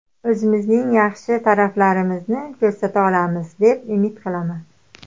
O‘zimizning yaxshi taraflarimizni ko‘rsata olamiz, deb umid qilaman.